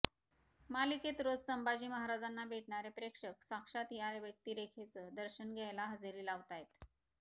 मालिकेत रोज संभाजी महाराजांना भेटणारे प्रेक्षक साक्षात या व्यक्तिरेखेचं दर्शन घ्यायला हजेरी लावतायत